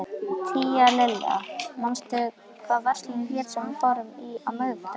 Tíalilja, manstu hvað verslunin hét sem við fórum í á miðvikudaginn?